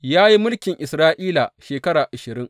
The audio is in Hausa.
Ya yi mulkin Isra’ila shekara ashirin.